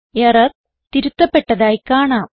error തിരുത്തപ്പെട്ടതായി കാണാം